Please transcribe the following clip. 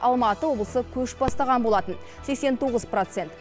алматы облысы көш бастаған болатын сексен тоғыз процент